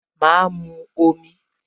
Ma mu omi